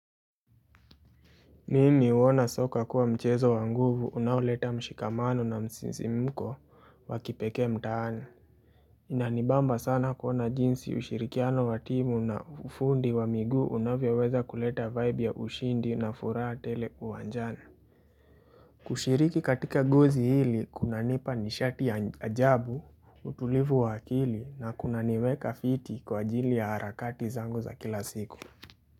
Nini uona soka kuwa mchezo wa nguvu unawleta mshikamano na msisi mko wakipekee mtaani Inanibamba sana kuona jinsi ushirikiano wa timu na ufundi wa migu unavyoweza kuleta vibe ya ushindi na furaha tele uwanjani kushiriki katika guzi hili kuna nipa nishati ya ajabu utulivu wakili na kuna niweka fiti kwa jili ya harakati zangu za kila siku.